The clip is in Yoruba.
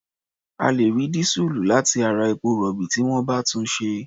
A lè rí dísùlù láti ara epo-rọ̀bì tí wọ́n bá túnṣe.